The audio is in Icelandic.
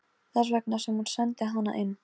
Þess vegna sem hún sendi hana inn.